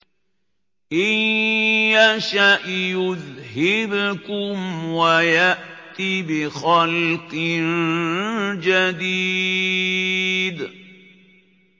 إِن يَشَأْ يُذْهِبْكُمْ وَيَأْتِ بِخَلْقٍ جَدِيدٍ